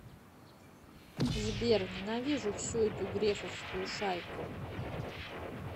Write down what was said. сбер ненавижу всю эту грефовскую шайку